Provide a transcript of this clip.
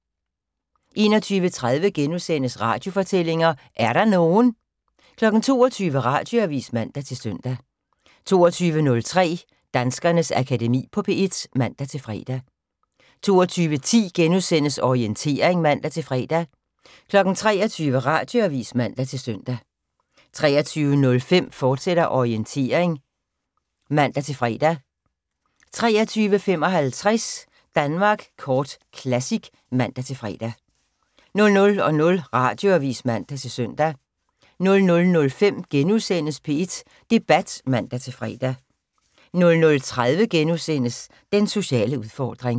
21:30: Radiofortællinger: Er der nogen? * 22:00: Radioavis (man-søn) 22:03: Danskernes Akademi på P1 (man-fre) 22:10: Orientering *(man-fre) 23:00: Radioavis (man-søn) 23:05: Orientering, fortsat (man-fre) 23:55: Danmark Kort Classic (man-fre) 00:00: Radioavis (man-søn) 00:05: P1 Debat *(man-fre) 00:30: Den sociale udfordring *